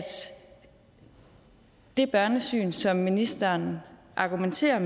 det børnesyn som ministeren argumenterer